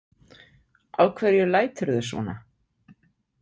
Af hverju læturðu svona?